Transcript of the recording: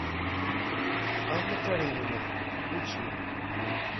анна каренина включи